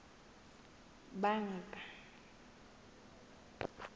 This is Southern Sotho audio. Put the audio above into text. banka